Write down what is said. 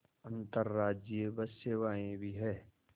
अंतर्राज्यीय बस सेवाएँ भी हैं